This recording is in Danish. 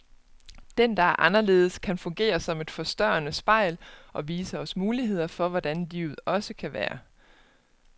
Den, der er anderledes, kan fungere som et forstørrende spejl, og vise os muligheder for hvordan livet også kan være.